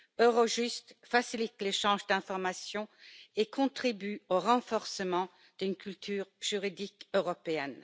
Eurojust facilite l'échange d'informations et contribue au renforcement d'une culture juridique européenne.